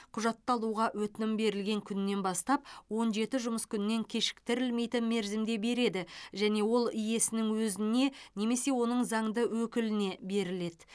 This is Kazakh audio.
құжатты алуға өтінім берілген күннен бастап он жеті жұмыс күнінен кешіктірілмейтін мерзімде береді және ол иесінің өзіне немесе оның заңды өкіліне беріледі